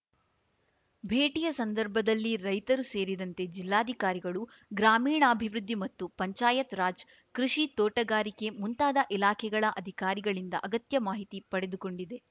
ಭೇಟಿಯ ಸಂದರ್ಭದಲ್ಲಿ ರೈತರು ಸೇರಿದಂತೆ ಜಿಲ್ಲಾಧಿಕಾರಿಗಳು ಗ್ರಾಮೀಣಾಭಿವೃದ್ಧಿ ಮತ್ತು ಪಂಚಾಯತ್‌ ರಾಜ್‌ ಕೃಷಿ ತೋಟಗಾರಿಕೆ ಮುಂತಾದ ಇಲಾಖೆಗಳ ಅಧಿಕಾರಿಗಳಿಂದ ಅಗತ್ಯ ಮಾಹಿತಿ ಪಡೆದುಕೊಂಡಿದೆ